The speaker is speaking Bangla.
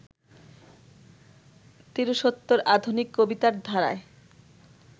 তিরিশোত্তর আধুনিক কবিতার ধারায়